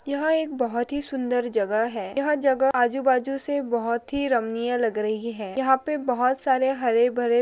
यह एक बहुत सुंदर जगह है यह जगह आजुबाजुसे बहुत ही रमणीय लग रही है। यहा पे बहुत सारे हरे भरे--